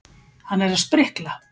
Hann er að sprikla.